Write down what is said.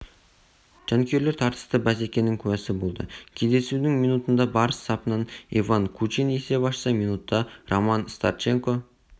жанкүйерлер тартысты бәсекенің куәсі болды кездесудің минутында барыс сапынан иван кучин есеп ашса минутта роман старченко